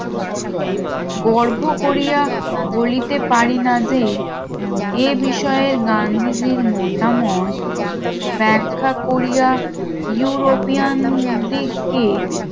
গর্ভ করিয়া বলিতে পারি না যে এ বিষয়ে গান্ধীজীর মতামত ব্যাখ্যা করিয়া ইউরোপিয়ান দিক কে